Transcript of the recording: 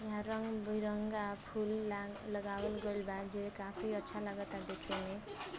यहाँ रंग बिरंगा फुल लाग लगावल बा जे काफी अच्छा लगता देखे में।